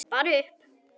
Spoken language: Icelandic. Bara upp!